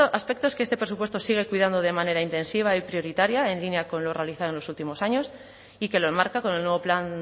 aspectos que este presupuesto sigue cuidando de manera intensiva y prioritaria en línea con lo realizado en los últimos años y que lo enmarca con el nuevo plan